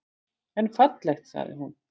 En fallegt, sagði hún.